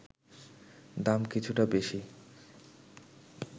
দাম কিছুটা বেশি